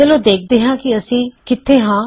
ਚਲੋ ਦੇਖਦੇ ਹਾਂ ਕਿ ਅਸੀਂ ਕਿੱਥੇ ਹਾਂ